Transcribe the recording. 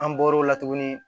An bɔr'o la tuguni